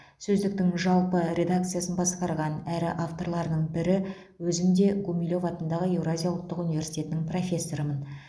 сөздіктің жалпы редакциясын басқарған әрі авторларының бірі өзім де гумилев атындағы еуразия ұлттық университетінің профессорымын